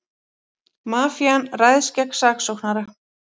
Mafían ræðst gegn saksóknara